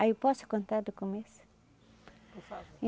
Aí eu posso contar do começo? Por favor